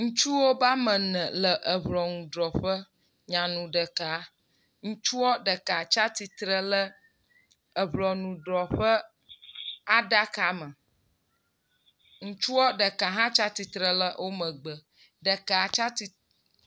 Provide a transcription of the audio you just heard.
Ŋutsuwo be ame ene le ŋɔnudrɔƒe nyanu ɖeka. Ŋutsua ɖeka tsi atsitre ɖe eŋɔnudrɔƒe ɖaka me. Ŋutsua ɖeka hã tsi atsitre le womegbe. Ɖeka tsi atsi